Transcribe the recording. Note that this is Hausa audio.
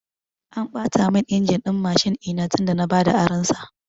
An ɓata mun injin din Mashin ɗina tun da na bada aron sa